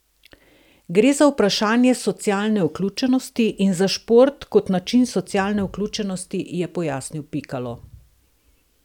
Gre za vprašanje socialne vključenosti in za šport kot način socialne vključenosti, je pojasnil Pikalo.